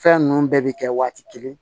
Fɛn ninnu bɛɛ bɛ kɛ waati kelen